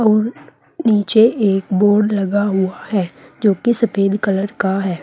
और नीचे एक बोर्ड लगा हुआ है जो कि सफेद कलर का है।